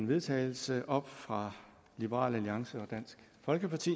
vedtagelse op fra liberal alliance og dansk folkeparti